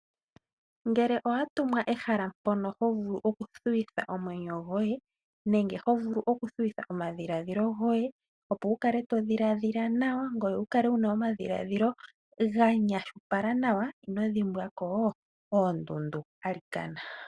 Ngele owatumwa ehala mpono hovulu okuthuwitha omwenyo nenge omadhiladhilo goye, opo wukale todhiladhila nawa, ngoye wukale nomadhiladhilo ganyashipala nawa ino dhimbwako oondundu alikana.